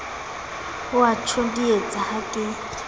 o a ntjodietsa ha ke